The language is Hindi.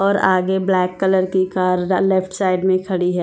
और आगे ब्लैक कलर की कार लेफ्ट साइड में खड़ी है।